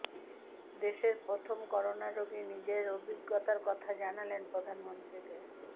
দেশের প্রথম করোনা রোগী নিজের অভিজ্ঞতার কথা জানালেন প্রধানমন্ত্রীকে